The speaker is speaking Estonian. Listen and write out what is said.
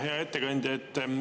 Hea ettekandja!